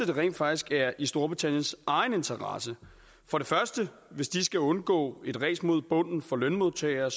det rent faktisk er i storbritanniens egen interesse hvis de skal undgå et ræs mod bunden for lønmodtagere